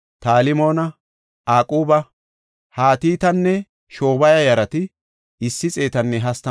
Besaya yarata, Ma7unima yarata, Nafusesima yarata,